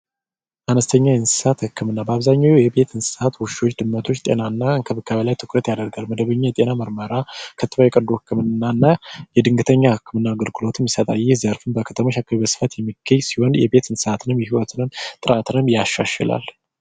አነስተኛ የእንስሳት ህክምና በአብዛኛው ውሾች ድመቶች እንዲሁም ከብቶችን ጤናማ ያደርጋል ከፍተኛ የጤና ምርመራ የድንገተኛ ህክምና አገልግሎትን ይሰጣል በዘርፉ በስፋት የሚገኝ ሲሆን የቤት እንስሳት እርባታ በከፍተኛ ሁኔታ ያሻሽላል።